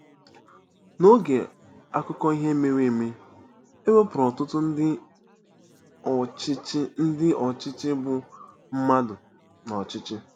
N'OGE akụkọ ihe mere eme, e wepụrụ ọtụtụ ndị ọchịchị ndị ọchịchị bụ́ mmadụ n'ọchịchị.